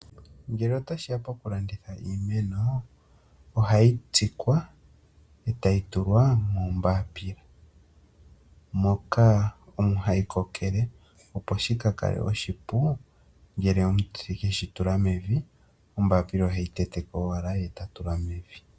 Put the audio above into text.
Ngele otashi ya pokulanditha iimeno ohayi tsikwa e tayi tulwa moonayilona moka omo hayi kokele opo shika kale oshipu ngele omutsiki eshi tula mevi onayilona oheyi tete ko owala e ta tula mevi.